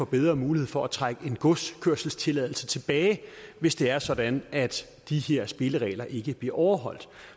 bedre muligheder for at trække en godskørselstilladelse tilbage hvis det er sådan at de her spilleregler ikke bliver overholdt